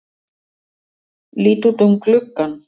Lít út um gluggann.